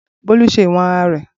Bolu ṣe iwọn ara rẹ.